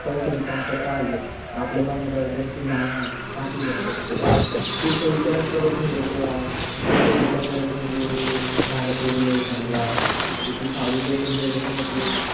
पैस्याची कमतरता आली आपल्या भानदया वर दोन तीन झाड आहेत टाकल लेका cut करून पुढच विचार करतच नाही लोक यार. पुढच विचार करत नाही कि अह झाड तोडले समजा तिथ सावली देते पूर्ण ते